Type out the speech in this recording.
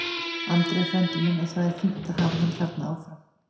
Andri er frændi minn og það er fínt að hafa hann þarna áfram.